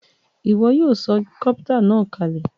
Ìwo yio so copter nàá kalè